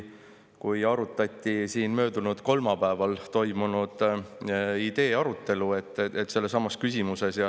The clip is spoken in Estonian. Möödunud nädala kolmapäeval toimus sellesama idee, küsimuse arutelu siin.